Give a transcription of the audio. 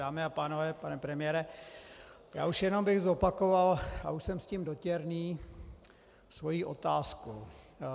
Dámy a pánové, pane premiére, já už jenom bych zopakoval, a už jsem s tím dotěrný, svoji otázku.